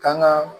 Kan ga